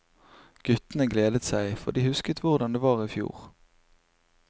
Guttene gledet seg, for de husket hvordan det var i fjor.